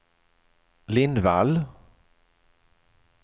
Lindvall